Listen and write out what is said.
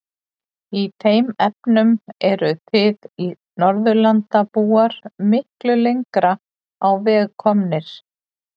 Í þeim efnum eruð þið Norðurlandabúar miklu lengra á veg komnir.